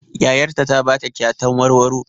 Yayar ta ta ba ta kyatan warwaro.